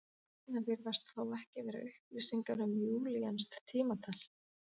Þarna virðast þó ekki vera upplýsingar um júlíanskt tímatal.